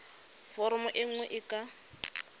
foromo e nngwe e ka